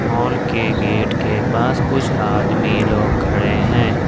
Mall के gate के पास कुछ आदमी लोग खड़े हैं।